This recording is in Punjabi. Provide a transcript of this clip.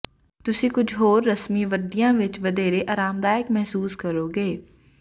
ਤੁਸੀਂ ਕੁਝ ਹੋਰ ਰਸਮੀ ਵਰਦੀਆਂ ਵਿੱਚ ਵਧੇਰੇ ਆਰਾਮਦਾਇਕ ਮਹਿਸੂਸ ਕਰੋਗੇ